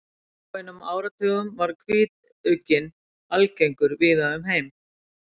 fyrir fáeinum áratugum var hvítugginn algengur víða um heim